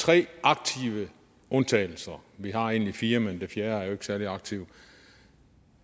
tre aktive undtagelser vi har egentlig fire men den fjerde er jo ikke særlig aktiv